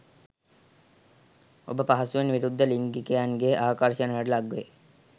ඔබ පහසුවෙන් විරුද්ධ ලිංගිකයන්ගේ ආකර්ෂණයට ලක්වේ.